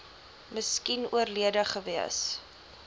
miskien oorlede gewees